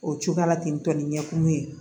O cogoya la ten tɔ ni ɲɛkumu ye